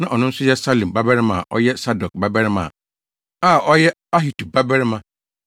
na ɔno nso yɛ Salum babarima a ɔyɛ Sadok babarima a ɔyɛ Ahitub babarima